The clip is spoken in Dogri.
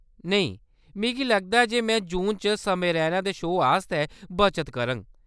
नेईं, मिगी लगदा ऐ जे में जून च समय रैना दे शो आस्तै बचत करङ।